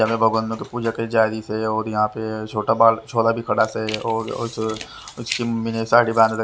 भगवान की पूजा की जारी से और यहाँ पे छोटा बाल छोरा भी खड़ा से और उसकी मम्मी ने साड़ी--